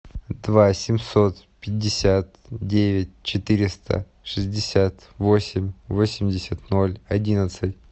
два семьсот пятьдесят девять четыреста шестьдесят восемь восемьдесят ноль одиннадцать